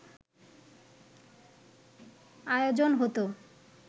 আয়োজন হত